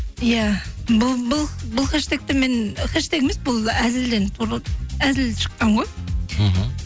иә бұл хэштегті мен хэштег емес бұл әзіл шыққан ғой мхм